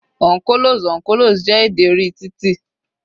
On colos, on colos, jẹ́ èdè orí titi.